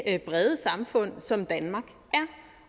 brede samfund som danmark